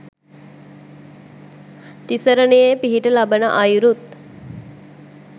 තිසරණයේ පිහිට ලබන අයුරුත්